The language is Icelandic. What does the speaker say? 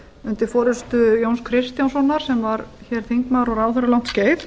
undir forustu jóns kristjánssonar sem var þingmaður og ráðherra um langt skeið